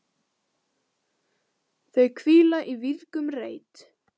Þau hvíla í vígðum reit.